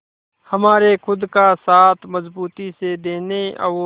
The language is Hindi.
हमारे खुद का साथ मजबूती से देने और